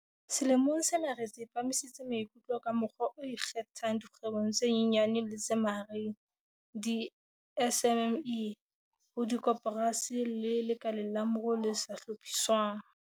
Selemong sena re tsepamisitse maikutlo ka mokgwa o ikgethang dikgwebong tse nyenyane le tse mahareng, di-SMME, ho dikoporasi le lekaleng la moruo le sa hlophiswang.